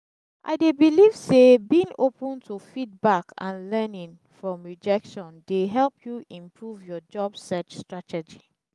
i dey believe say being open to feedback and learning from rejection dey help you improve your job search strategy.